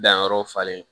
Danyɔrɔ falen